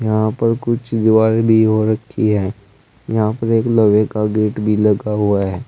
यहां पर कुछ रखी है यहां पर एक लवे का गेट भी लगा हुआ है।